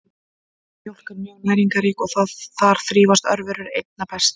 Mjólk er mjög næringarrík og þar þrífast örverur einna best.